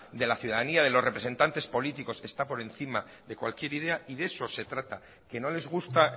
de la ciudadanía de los representantes políticos está por encima de cualquier idea y de eso se trata que no les gusta